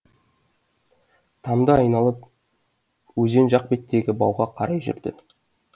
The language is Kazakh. тамды айналып өзен жақ беттегі бауға қарай жүрді